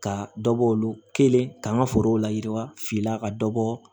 Ka dɔ bɔ olu kelen ka forow layiwa fili la ka dɔ bɔ